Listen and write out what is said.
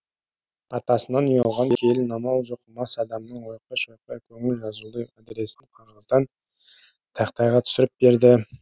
атасынан ұялған келін амал жоқ мас адамның ойқы шойқы көңіл жазулы адресін қағаздан тақтайға түсіріп берді